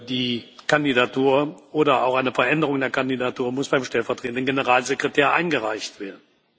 Die Kandidatur oder auch eine Veränderung der Kandidatur muss beim Stellvertretenden Generalsekretär eingereicht werden.